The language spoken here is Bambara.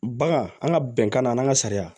Bagan an ka bɛnkan na an ka sariya